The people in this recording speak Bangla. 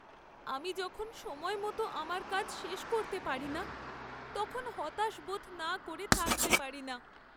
আমি যখন সময়মতো আমার কাজ শেষ করতে পারি না, তখন হতাশ বোধ না করে থাকতে পারি না।